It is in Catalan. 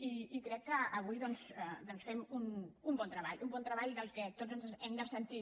i crec que avui fem un bon treball un bon treball de què tots ens hem de sentir